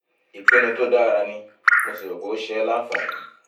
ìpinnu tó dára ni mo sì rò pé ó ń ṣe ẹ́ láǹfààní